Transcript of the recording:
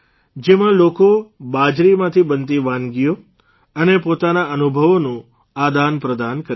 જેમાં લોકો બાજરીમાંથી બનતી વાનગીઓ અને પોતાના અનુભવોનું આદાનપ્રદાન કરી શકે